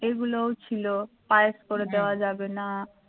এগুলোও ছিল পায়েস করে দেওয়া যাবে না